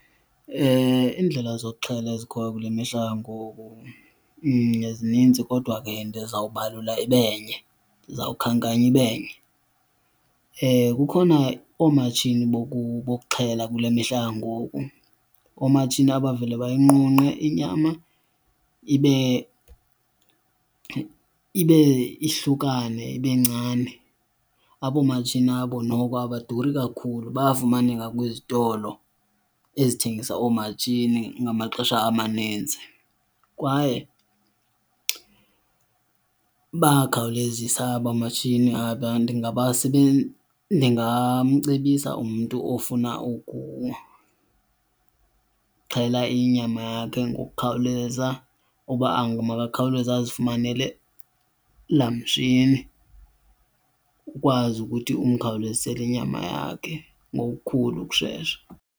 Iindlela zokuxhela ezikhoyo kule mihla yangoku zininzi kodwa ke ndizawubalula ibe nye, ndizawukhankanya ibe nye. Kukhona oomatshini bokuxhela kule mihla yangoku, oomatshini abavele bayinqunqe inyama ibe ibe ihlukane ibe ncane. Abo matshini abo noko abaduri kakhulu bayafumaneka kwizitolo ezithengisa oomatshini ngamaxesha amaninzi kwaye bayakhawulezisa aba matshini aba. Ndingamcebisa umntu ofuna ukuxhela inyama yakhe ngokukhawuleza uba makakhawuleze azifumanele laa mtshini ukwazi ukuthi umkhawulezisele inyama yakhe ngokukhulu ukushesha.